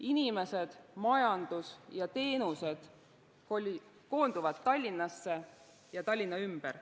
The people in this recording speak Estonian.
Inimesed, majandus ja teenused koonduvad Tallinnasse ja Tallinna ümber.